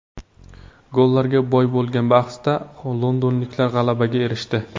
Gollarga boy bo‘lgan bahsda londonliklar g‘alabaga erishdi.